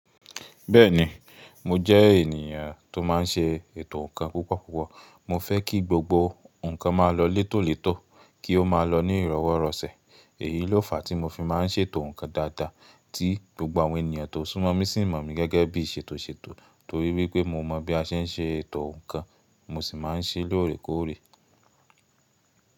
Bẹ́ẹ̀ni, mo jẹ́ ènìyàn tó má n ṣe ètò ǹkan púpọ̀púpọ̀. Mo fẹ́ kí gbogbo ǹkan má lọ létòlétò, kí ó má lọ ní ìrọwọ́rọsẹ̀. Èyí ló fàá tí mo fi má n ṣètò ǹkan dáadáa tí gbogbo àwọn ènìyàn tó súnmọ́ mí sì mọ̀ mí gẹ́gẹ́ bí ìṣètòṣètò torí wípé mo mọ̀ bí a ṣe n ṣe ètò ǹkan mo sì má n ṣé lóòrèkóòrè.